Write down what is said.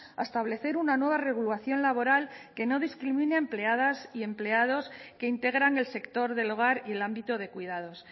a establecer una nueva regulación laboral que no discrimine a empleadas y empleados que integran el sector del hogar y el ámbito de cuidados